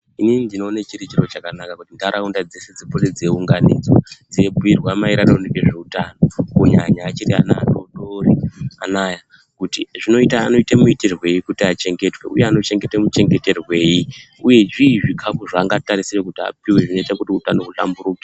Inini ndinona chirichiro chakanaka kuti nharaunda dzeshe dzipote dzeiunganidzwa dzibhuirwa maringe ngezveutano kunyanya achiri ana adodori anaya. Kuti zvinoita muitiwoi kuti achengetwe, uye anoita muchengetserwei, uye zvii zvikafu zvanorisirwa kuti apiwe kuti hutano huhlamburuke.